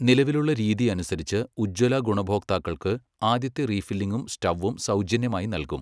നിലവിലുള്ള രീതി അനുസരിച്ച്, ഉജ്ജ്വല ഗുണഭോക്താക്കൾക്ക് ആദ്യത്തെ റീഫില്ലിങ്ങും സ്റ്റൗവും സൗജന്യമായി നല്കും.